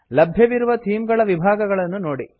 ಲಭ್ಯವಿರುವ ಥೀಮ್ ಗಳ ವಿಭಾಗಗಳನ್ನು ನೋಡಿ